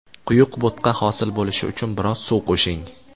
Quyuq bo‘tqa hosil bo‘lishi uchun biroz suv qo‘shing.